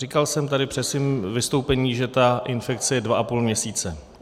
Říkal jsem tady při svém vystoupení, že ta infekce je dva a půl měsíce.